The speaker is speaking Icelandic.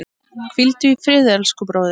Hvíldu í friði, elsku bróðir.